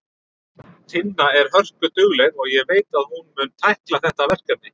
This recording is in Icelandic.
Tinna er hörkudugleg og ég veit að hún mun tækla þetta verkefni.